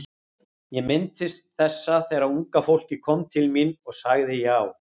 Ég minntist þessa þegar unga fólkið kom til mín og ég sagði já.